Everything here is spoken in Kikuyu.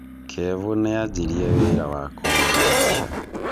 Kevo nanjirie wĩra wa kũhũra mbica.